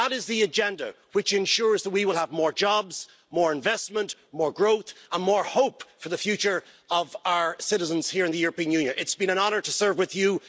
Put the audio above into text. That is the agenda which ensures that we will have more jobs, more investment, more growth and more hope for the future of our citizens here in the European Union. It has been an honour to serve with you.